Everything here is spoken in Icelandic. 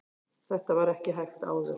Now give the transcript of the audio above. þetta var ekki hægt áður